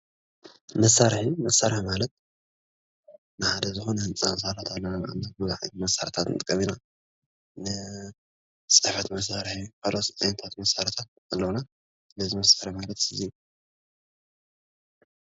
መሳርሒ መሳርሒ ማለት ንሓደ ዝኾነ ህንፃ ህንፃ ክንሰርሕ ከለና ቡዙሓት መሳርሕታት ንጥቀም ንኽእል ኢና። ፅሕፈት መሳርሒ ንካልኦት ፅሕፈት መሰርሕታት ኣለውና። ስለዚ መሳርሒ ማለት እዩ።